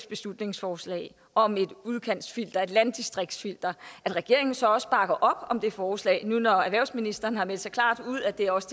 beslutningsforslag om et udkantsfilter et landdistriktsfilter at regeringen så også bakker op om det forslag nu når erhvervsministeren har meldt så klart ud at det også